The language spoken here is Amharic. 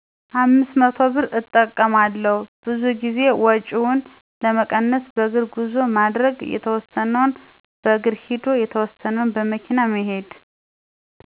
500ብር እጠቀማለሁ፣ ብዙ ጊዜ ወጭውን ለመቀነስ በእግር ጉዞ ማድረግ፣ የተወሰነውን በእግር ሂዶ የተወሰነውን በመኪና መሄድ።